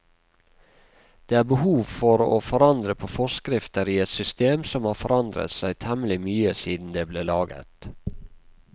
Det er behov for å forandre på forskrifter i et system som har forandret seg temmelig mye siden det ble laget.